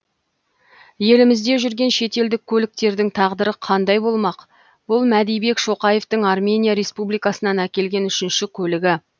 елімізде жүрген шетелдік көліктердің тағдыры қандай болмақ бұл мәдибек шоқаевтың армения республикасынан әкелген үшінші көлігі